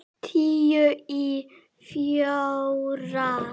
Tíu í fjórar.